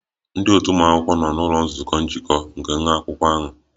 Ndị otu ụmụ akwụkwọ ahụ nọ n'ụlọ nzukọ njikọ nke nwa akwụkwọ ahụ